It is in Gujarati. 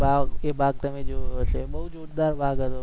ભાગ તે ભાગ તમે જોયો હશે બોવ જોરદાર ભાગ હતો,